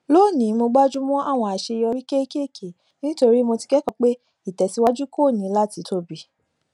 lónìí mo gbájú mọ àwọn àṣeyọrí kéékèèké nítorí mo ti kẹkọọ pé ìtẹsíwájú kò ní láti tóbi